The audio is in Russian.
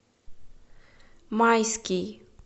майский